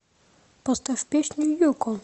поставь песню юкон